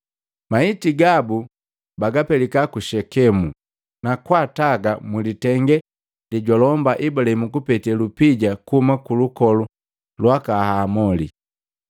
Maiti gabu bapelika ku Shekemu, na kwaataga mulitenge lejwalomba Ibulahimu kupete lupija kuhuma kulukolu lwaka Hamoli.